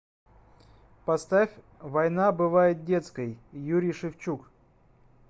поставь война бывает детской юрий шевчук